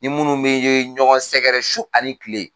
Ni minnu bɛ ɲɔgɔn sɛgɛrɛ su ani kile.